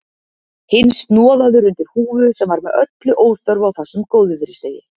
Hinn snoðaður undir húfu sem var með öllu óþörf á þessum góðviðrisdegi.